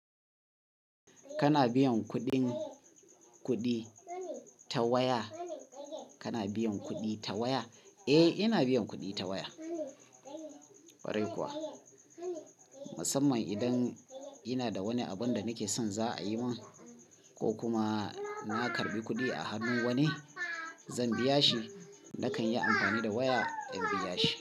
Kana biyan kuɗin kuɗi ta waya? Kana biyan kuɗi ta waya? Eh, ina biyan kuɗi ta waya. Kwarai kuwa, musamman idan ina da wani abun da nake son za'a yi min ko kuma na karɓi kuɗi a hannun wani zan biya shi, nakan yi amfani da waya in biya shi.